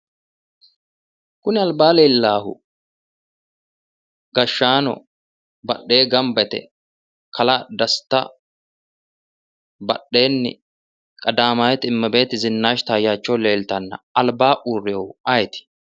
Kuni albaa leellaahu gashshaano badhee gamba yite kalaa desta badheennii qadaamawiti imebeeti zinaashi taayaachewu leeltanna albaa urrinohu ayeeti?